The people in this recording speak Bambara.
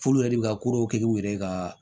F'ulu yɛrɛ bi ka kow kɛ k'u yɛrɛ ka